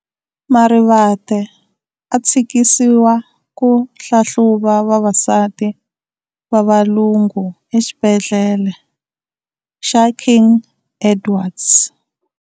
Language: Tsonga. Marivate a thsikisiwa ku hlahluva vavasati va valungu exibhedle xa King Edwards.